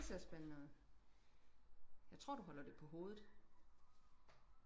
det ser spændende ud jeg tror du holder det på hovedet